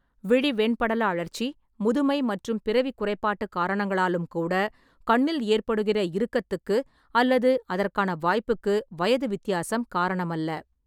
விழி வெண்படல அழற்சி, முதுமை மற்றும் பிறவிக் குறைபாட்டுக் காரணங்களாலும் கூட கண்ணில் ஏற்படுகிற இறுக்கத்துக்கு அல்லது அதற்கான வாய்ப்புக்கு வயது வித்தியாசம் காரணம் அல்ல.